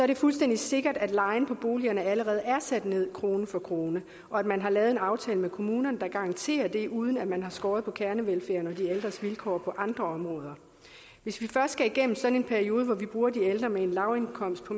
det fuldstændig sikkert at lejen på boligerne allerede er sat ned krone for krone og at man har lavet en aftale med kommunerne der garanterer det uden at man har skåret ned på kernevelfærden og de ældres vilkår på andre områder hvis vi først skal igennem sådan en periode hvor vi bruger de ældre med en lavindkomst på